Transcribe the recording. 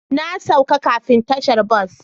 Na sauke kafin tashar bas.